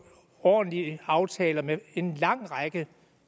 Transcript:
ordentlige aftaler med en lang række